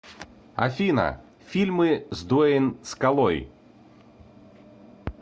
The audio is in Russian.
афина фильмы с дуэйн скалой